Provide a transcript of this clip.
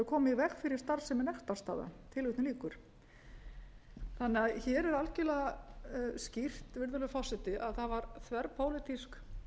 í veg fyrir starfsemi nektarstaða þannig að hér er algjörlega skýrt virðulegur forseti að það var þverpólitísk